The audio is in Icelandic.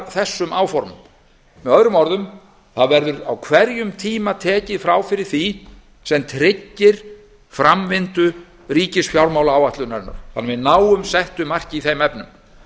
þessum áformum með öðrum orðum verður á hverjum tíma tekið frá fyrir því sem tryggir framvinda ríkisfjármálaáætlunarinnar þannig að við náum settu marki í þeim efnum